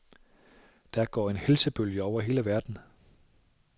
Der går der en helsebølge over hele verden.